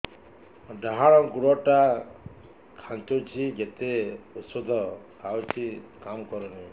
ଡାହାଣ ଗୁଡ଼ ଟା ଖାନ୍ଚୁଚି ଯେତେ ଉଷ୍ଧ ଖାଉଛି କାମ କରୁନି